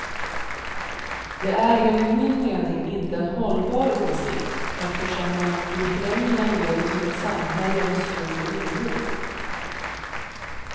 Det är enligt min mening inte en hållbar åsikt, eftersom den i förlängningen leder till ett samhälle med stor oro.